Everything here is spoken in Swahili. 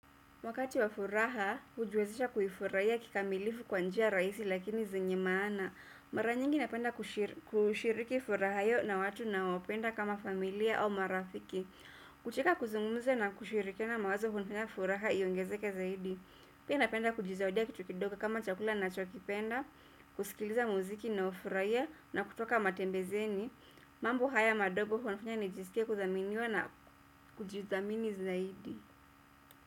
Wakati wa furaha, hujiwezesha kuifurahia kikamilifu kwa njia rahisi lakini zenye maana. Mara nyingi napenda kushiriki furaha hiyo na watu nao wapenda kama familia au marafiki. Kucheka, kuzungumza na kushirikiana mawazo hunifanya furaha iyongezeke zaidi. Pia napenda kujizawadia kitu kidogo kama chakula nachokipenda, kusikiliza muziki na ufurahie na kutoka matembezeni. Mambo haya madogo huwa nafanya nijisike kuthaminiwa na kujithamini zaidi.